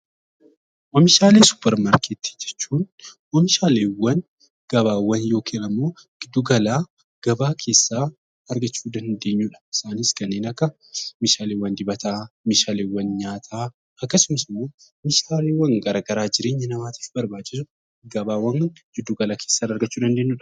Oomishaalee Suuparmarketii jechuun oomishaaleewwan, gabaawwan yookiin immoo giddugala gabaa keessaa argachuu dandeenyu dha. Isaanis kanneen akka meeshaaleewwan dibataa, meeshaaleewwan nyaataa, akkasumas immoo meeshaaleewwan gara garaa jireenya namaatiif barbaachisu gabaawwan giddugala keessaa argachuu dandeenyu dha.